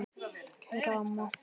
Kæra amma.